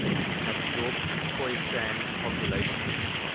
absorbed khoisan populations